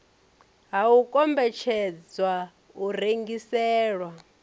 ha u kombetshedzwa u rengiselwa